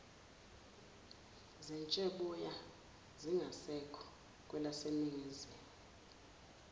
zetsheboya zingasekho kwelaseningizimu